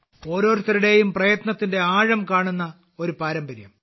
ഓരോരുത്തരുടെയും പ്രയത്നത്തിന്റെ ആഴം കാണുന്ന ഒരു പാരമ്പര്യം